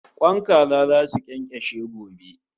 Kwan kaza zasu kyankashe gobe